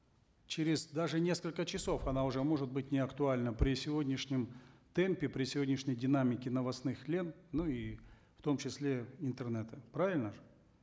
через даже несколько часов она уже может быть неактуальна при сегодняшнем темпе при сегодняшней динамике новостных лент ну и в том числе интернета правильно же